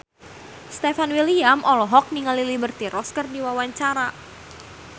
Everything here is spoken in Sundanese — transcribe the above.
Stefan William olohok ningali Liberty Ross keur diwawancara